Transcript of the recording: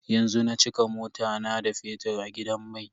Yanzu na cika mota na da fetir a gidan mai.